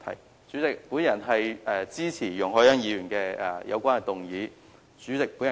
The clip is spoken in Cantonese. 代理主席，我謹此陳辭，支持容海恩議員的議案。